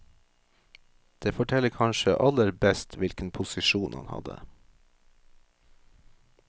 Det forteller kanskje aller best hvilken posisjon han hadde.